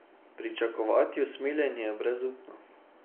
Pričakovati usmiljenje je brezupno.